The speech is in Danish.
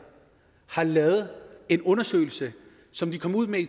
har lavet en undersøgelse som de kom ud med